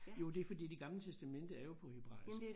Jo det er fordi det gamle testamente er jo på hebraisk